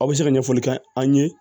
Aw bɛ se ka ɲɛfɔli kɛ an ye